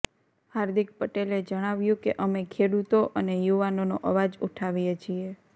હાર્દિક પટેલે જણાવ્યું કે અમે ખેડૂતો અને યુવાનોનો અવાજ ઉઠાવીએ છીએ